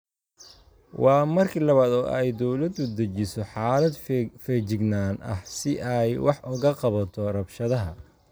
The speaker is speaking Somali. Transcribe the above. Waa markii labaad oo ay dowladdu dejiso xaalad feejignaan ah si ay wax uga qabato rabshadaha.